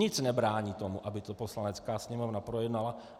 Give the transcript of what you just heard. Nic nebrání tomu, aby to Poslanecká sněmovna projednala.